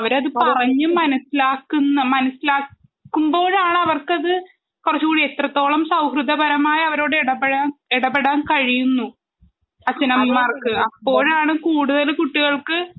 അവരത് പറഞ്ഞു മനസ്സിലാക്കുമ്പോഴാണ് അത് അവർക്ക് അത് കുറച്ചുകൂടി എത്രത്തോളം സൗഹൃദപരമായി ഇടപെടാൻ കഴിയുന്നു അച്ഛനമ്മമാർക്ക് അപ്പോഴാണ് കൂടുതൽ കുട്ടികൾക്ക്